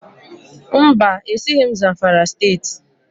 Mba, esighị m Zamfara Steeti